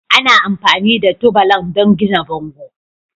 Ana amfani da tubalan don gina bango.